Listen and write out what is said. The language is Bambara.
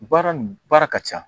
Baara nin baara ka ca